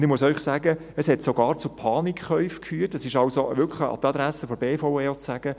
Und ich muss Ihnen sagen, dass es sogar zu Panikkäufen führte, dies also wirklich an die Adresse der BVE.